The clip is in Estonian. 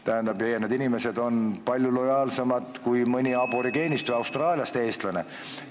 Ja need inimesed on meie riigile palju lojaalsemad kui mõni aborigeenist Austraalias elav Eesti kodanik.